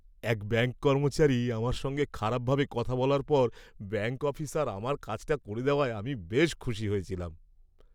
এক ব্যাঙ্ক কর্মচারী আমার সঙ্গে খারাপভাবে কথা বলার পর ব্যাঙ্ক অফিসার আমার কাজটা করে দেওয়ায় আমি বেশ খুশি হয়েছিলাম।